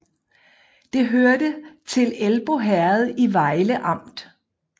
Det hørte til Elbo Herred i Vejle Amt